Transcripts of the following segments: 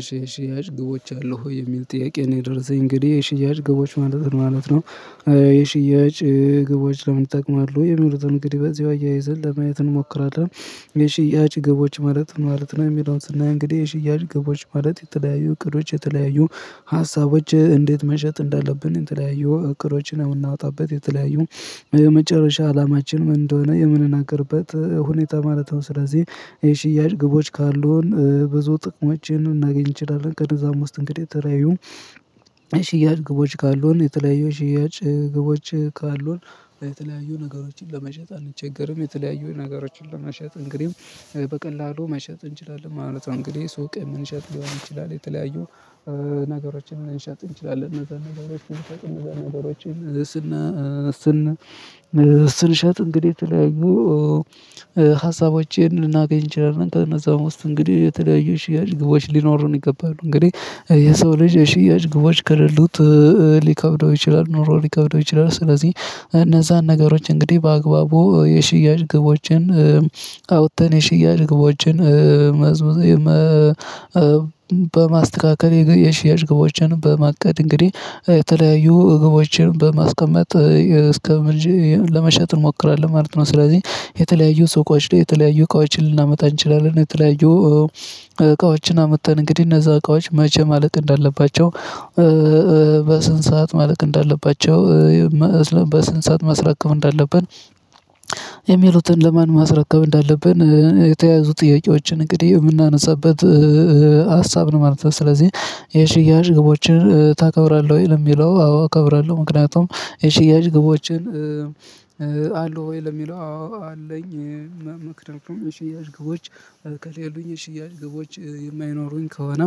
እሺ እሺ እሺ እሺ ግቦች አሉህ የሚል ጥያቄ ነው የደረሰኝ እንግዲህ ግቦች ማለት ነው ማለት ነው። የሽያጭ ግቦች ለምን ይጠቅማሉ? የሚሉትን እንግዲህ በዚሁ አያይዘን ለማየት እንሞክራለን የሽያጭ ግቦች ማለት ነው የሚለውን ስእይ እንግዲህ የሽያጭ ግቦች ማለት የተለያዩ እቅዶች የተለያዩ ሀሳቦች እንዴት መሸጥ እንዳለብን የተለያዩ እቅዶችን የምናወጣበት የተለያዩ የመጨረሻ አላማችን ምን እንደሆነ የምንናገርበት ሁኔታ ማለት ነው። ስለዚህ የሽያጭ ግቦች ካሉን ብዙ ጥቅሞችን ልናገኝ እንችላለን። ከነዛም ውስጥ እንግዲህ ተለያዩ የሽያጭ ግቦች ካሉን የተለያዩ የሽያጭ ግቦች ካሉን የተለያዩ ነገሮችን ለመሸጥ አንቸገርም የተለያዩ ነገሮችን ለመሸጥ እንግዲህ በቀላሉ መሸጥ እንችላለን ማለት ነው። እንግዲህ ሱቅ ልንሸጥ ሊሆን ይችላል የተለያዩ ነገሮችን ሊሸጥ እንችላለን እና እነዛን ነገሮችን እነዛን ነገሮችን ስንሸጥ እንግዲህ ይተለያዪ ሀሳቦችን ልናገኝ እንችላለን። ከነዛም ውስጥ እንግዲህ የተለያዩ ሽያጭ ግቦች ሊኖሩን ይገባሉ። እንግዲህ የሰው ልጅ ሽያጭ ግቦች ከሌሉት ሊከብደው ይችላል። ኑሮ ሊከብደው ይችላል ስለዚህ እነዛን ነገሮች እንግዲህ በአግባቡ የሽያጭ ግቦችን አውጥተን የሽያጭ ግቦችን መስመር በማስተካከል የሽያጭ ግቦችን በማቀድ እንግዲህ የተለያዩ ግቦችን በማስቀመጥ እስከ ለመሸጥ እንሞክራለን ማለት ነው። ስለዚህ የተለያዩ ሰቆች ላይ የተለያዩ እቃዎችን ልናመጣ እንችላለን እና የተለያዩ እቃዎችን አምጥተን እንግዲህ እነዛ እቃዎች መቼ ማለቅ እንዳለባቸው በስንት ሰዓት ማለቅ እንዳለባቸው በስንት ሰዓት ማስረከብ እንዳለብን የሚሉትን ለማን ማስረከብ እንዳለብን የተያያዙ ጥያቄዎችን እንግዲህ የምናነሳበት ሀሳብ ነው ማለት ነው። ስለዚህ የሽያጭ ግቦችን ታከብራለህ ወይ ለሚለው አዎ እከብራለሁ። ምክንያቱም የሽያጭ ግቦችን አሉህ ወይ ለሚለው አዎ አለኝ። መክንያቱም የሽያጭ ግቦች ከሌሉኝ የሽያጭ ግቦች የማይኖሩኝ ከሆነ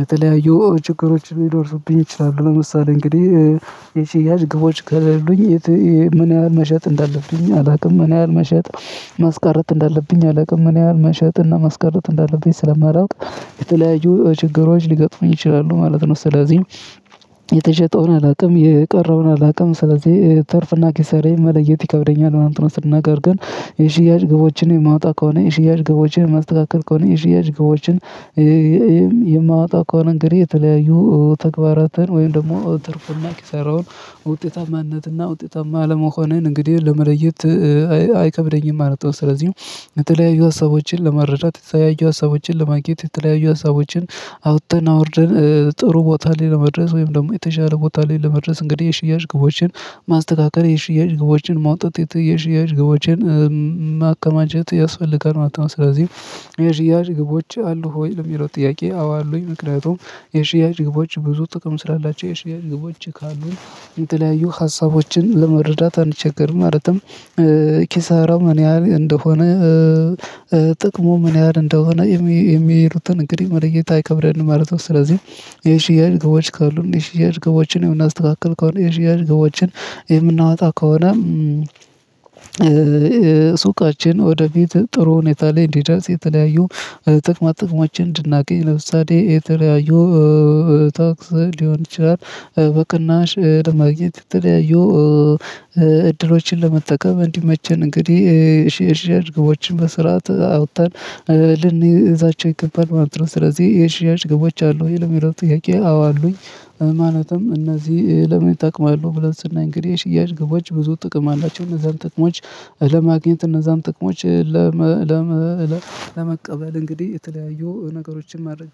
የተለያዩ ችግሮች ሊደርሱብኝ ይችላሉ። ለምሳሌ እንግዲህ የሺያጭ ግቦች ከሌሉኝ ምን ያህል መሸጥ እንዳለብኝ አላውቅም ምን ያህል መሸጥ ማስቀረት እንዳለብኝ አላውቅም ምን ያህል መሸጥ እና ማስቀረት እንዳለበኝ ስለማላውቅ የተለያዩ ችግሮች ሊገጥሙኝ ይችላሉ ማለት ነው። ስለዚህ የተሸጠውን አላውቅም የቀረውን አላውቅም ስለዚህ ትርፍና ኪሳራዬን መለየት ይከብደኛል። ነገር ግን የሽያጭ ግቦችን የማወጣ ከሆነ የሽያጭ ግቦችን ማስተካከል ከሆነ የሽያጭ ግቦችን የማወጣ ከሆነ እንግዲህ የተለያዩ ተግባራትን ወይም ደግሞ ትርፍና ኪሳራውን ውጤታማነትና ውጤታማ አለመሆንን እንግዲህ ለመለየት አይከብደኝም ማለት ነው። ስለዚህ የተለያዩ ሀሳቦችን ለመረዳት የተለያዩ ሀሳቦችን ለማግኘት የተለያዩ ሀሳቦችን አውጥተን አውርደን ጥሩ ቦታ ላይ ለመድረስ ወይም ደግሞ የተሻለ ቦታ ላይ ለመድረስ እንግዲህ የሽያጭ ግቦችን ማስተካከል የሽያጭ ግቦችን ማውጣት የሽያጭ ግቦችን ማከማቸት ያስፈልጋል ማለት ነው። ስለዚህ የሽያጭ ግቦች አሉህ? ወይ ለሚለው ጥያቄ አዎ አሉኝ። ምክንያቱም የሽያጭ ግቦች ብዙ ጥቅም ስላላቸው የሽያጭ ግቦች ካሉን የተለያዩ ሀሳቦችን ለመረዳት አንቸገርም። ማለትም ኪሳሪው ምን ያህል እንደሆነ ጥቅሙ ምን ያህል እንደሆነ የሚሄዱትን እንግዲህ መለየት አይከብደንም ማለት ነው። ስለዚህ የሽያጭ ግቦች ካሉን የሽያጭ ግቦችን የምናስተካክል ከሆነ የሽያጭ ግቦችን የምናወጣ ከሆነ ሱቃችን ወደፊት ጥሩ ሁኔታ ላይ እንዲደርስ የተለያዩ ጥቅማ ጥቅሞችን እንድናገኝ ለምሳሌ የተለያዩ ታክስ ሊሆን ይችላል። በቅናሽ ለማግኘት ትለያዩ እድሎችን ለመጠቀም እንዲመቸን እንግዲህ ሼር ሼር ግቦችን በስርዓት አውጥተን ልንይዛቸው ይገባል ማለት ነው። ስለዚህ የሽያጭ ግቦች አሉህ? ወይ ለሚለው ጥያቄ አዎ አሉኝ። ማለትም እነዚህ ለምን ይጠቅማሉ ብለን ስናይ እንግዲህ የሽያጭ ግቦች ብዙ ጥቅም አላቸው። እነዛን ጥቅሞች ለማግኘት እነዛን ጥቅሞች ለመቀበል እንግዲህ የተለያዩ ነገሮችን ማድረግ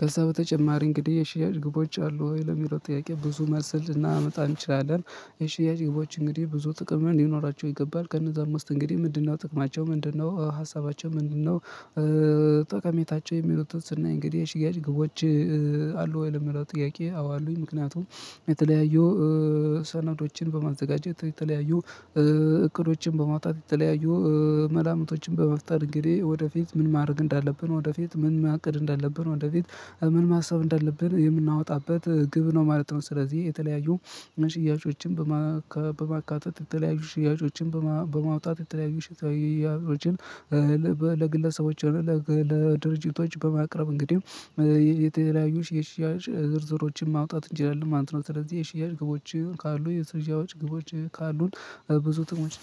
ከዛ በተጨማሪ እንግዲህ የሽያጭ ግቦች አሉህ ወይ ለሚለው ጥያቄ ብዙ መልስ ልናመጣ እንችላለን። የሽያጭ ግቦች እንግዲህ ብዙ ጥቅም ሊኖራቸው ይገባል። ከነዛም ውስጥ እንግዲህ ምንድነው ጥቅማቸው ምንድነው ሀሳባቸው ምንድነው? ጠቀሜታቸው የሚሉትን ስናይ እንግዲህ የሽያጭ ግቦች አሉ ወይ ለሚለው ጥያቄ አዎ አሉኝ። ምክንያቱም የተለያዩ ሰነዶችን በማዘጋጀት የተለያዩ እቅዶችን በማውጣት የተለያዩ መላምቶችን በመፍጠር እንግዲህ ወደፊት ምን ማድረግ እንዳለብን ወደፊት ምን ማቅድ እንዳለብን ወደፊት ምን ማሰብ እንዳለብን የምናወጣበት ግብ ነው ማለት ነው። ስለዚህ የተለያዩ ሽያጮችን በማካተት የተለያዩ ሽያጮችን በማውጣት የተለያዩ ሽያጮችን ለግለሰቦች ለድርጅቶች በማቅረብ እንግዲህ የተለያዩ የሽያጭ ዝርዝሮችን ማውጣት እንላለን ማለት ነው። ስለዚህ የሽያጭ ግቦች ካሉ የስርዣዎች ግቦች ካሉን ብዙ ጥቅሞች።